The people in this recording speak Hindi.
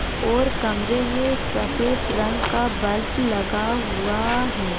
और कमरे में एक सफेद रंग का बल्प लगा हुआ है।